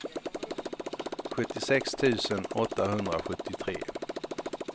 sjuttiosex tusen åttahundrasjuttiotre